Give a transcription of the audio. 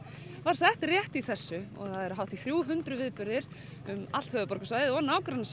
var sett rétt í þessu og það eru hátt í þrjú hundruð viðburðir um allt höfuðborgarsvæðið